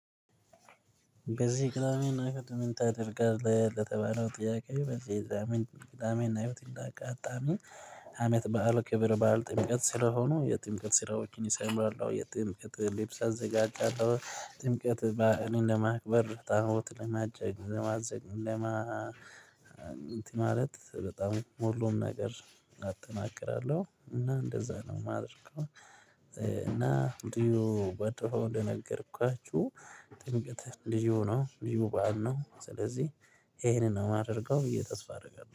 በዚህ ቅዳሜና እህድ ምን? ታደርጋለህ ለተባለው ጥያቄ በዚህ የዛመን ቅዳሜና እሁድ እንደ አጋጣሚ አመት በዓል ክብር በዓል ጥምቀት ስለሆኑ የጥምቀት ስራዎችን ይሰሙአል የጥምቀት ልብስ አዘጋጃለሁ ጥምቀት ባህሪን ለማክበር ታቦት ለማጨቅ ዘማዘግለማ እንትን ማለት በጣም ሁሎም ነገር አጠናቅራለሁ እና እንደዛ ነው የማደርገው። እና ልዩ ባጠፋው እንደነገርኳችሁ ጥምቅት ልዩ ነው ሆኖ ልዩ ሁሉ አለ ነው። ስለዚህ ይሄንን ነው የማደርገው ብዬ ተስፋ አደርጋለሁ